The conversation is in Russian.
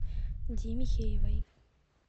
ди михеевой